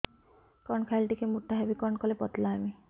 କଣ ଖାଇଲେ ଟିକେ ମୁଟା ହେବି କଣ କଲେ ପତଳା ହେବି